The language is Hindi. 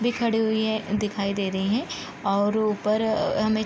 भी खड़े हुई हैं दिखाई दे रही है और ऊपर हमें --